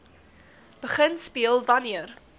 begin speel wanneer